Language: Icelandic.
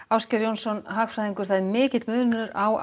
Ásgeir Jónsson hagfræðingur það er mikill munur á